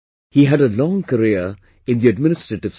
He had a long career in the administrative service